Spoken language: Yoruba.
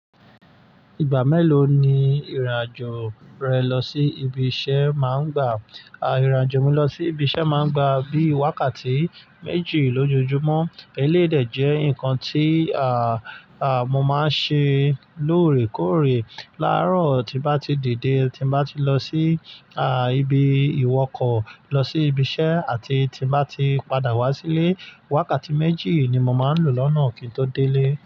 Ìgbà mélòó ni ìrìnàjò rẹ lọ sí ibi iṣẹ́ máa ń gbà? À, ìrìnàjò mi lọ sí ibi iṣẹ́ máa ń gbà bí i wákàtí méjì lójoojúmọ́. Eléyi dè jẹ́ nǹkan tí, àà, àà, mo máa ń ṣe lóòrèkóòrè. Láróò, tí bá ti dìde, tí bá ti lọ sí, àà, ibi ìwọkọ̀, lọ sí ibi iṣẹ́ àti tí bá ti padà wá sílé, wákàtí méjì ni mo máa ń lò lọ́nà kí n tó délé.